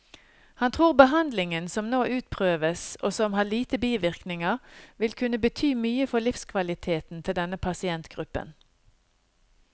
Han tror behandlingen som nå utprøves, og som har lite bivirkninger, vil kunne bety mye for livskvaliteten til denne pasientgruppen.